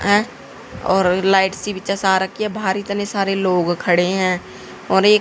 अह और लाइट सी भी सा रखी है बाहर इतने सारे लोग खड़े हैं और एक--